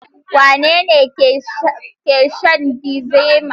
Wane ne ke shan Diazefam?